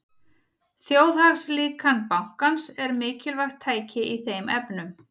Þjóðhagslíkan bankans er mikilvægt tæki í þeim efnum.